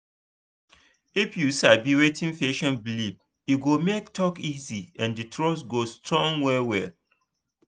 if you sabi wetin patient believe e go make talk easy and trust go strong well well.